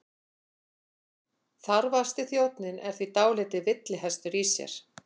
Þarfasti þjónninn er því dálítill villihestur í sér.